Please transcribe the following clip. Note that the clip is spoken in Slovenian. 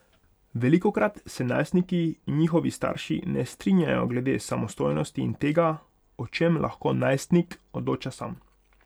Velikokrat se najstniki in njihovi starši ne strinjajo glede samostojnosti in tega, o čem lahko najstnik odloča sam.